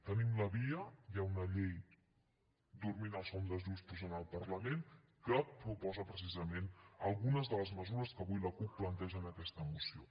tenim la via hi ha una llei dormint el son dels justos en el parlament que proposa precisament algunes de les mesures que avui la cup planteja en aquesta moció